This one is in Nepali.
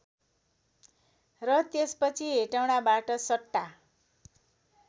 र त्यसपछि हेटौँडाबाट सट्टा